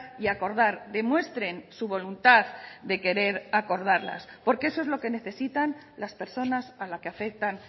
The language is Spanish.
y acordar demuestren su voluntad de querer acordarlas porque eso es lo que necesitan las personas a la que afectan